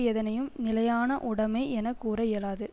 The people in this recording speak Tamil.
எதனையும் நிலையான உடைமை என கூற இயலாது